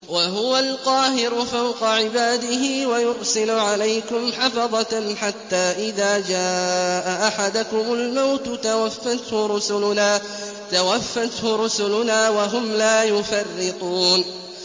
وَهُوَ الْقَاهِرُ فَوْقَ عِبَادِهِ ۖ وَيُرْسِلُ عَلَيْكُمْ حَفَظَةً حَتَّىٰ إِذَا جَاءَ أَحَدَكُمُ الْمَوْتُ تَوَفَّتْهُ رُسُلُنَا وَهُمْ لَا يُفَرِّطُونَ